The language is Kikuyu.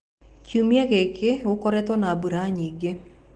Kiumia gĩkĩ gũkoretwo na mbura nyingĩ.